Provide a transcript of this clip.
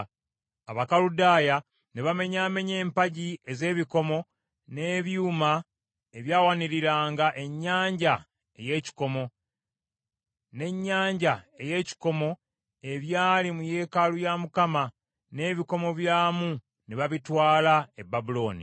Abakaludaaya ne bamenyaamenya empagi ez’ebikomo n’ebyuma ebyawaniriranga ennyanja ey’ekikomo, n’ennyanja ey’ekikomo, ebyali mu yeekaalu ya Mukama , n’ebikomo byamu ne babitwala e Babulooni.